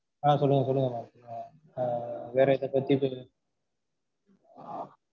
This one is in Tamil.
அஹ் சொல்லுங்க சொல்லுங்க mam